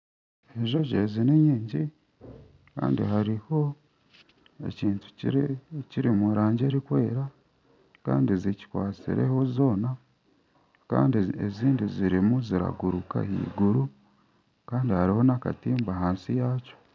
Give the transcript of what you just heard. Enjojo ezi ni nyingi Kandi hariho ekintu kiri omu rangi erikwera kandi zikikwatsireho zoona kandi ezindi zirimu ziraguruka aheiguru kandi hariho n'akatimba ahansi yakyo.